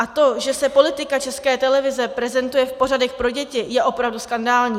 A to, že se politika České televize prezentuje v pořadech pro děti, je opravdu skandální.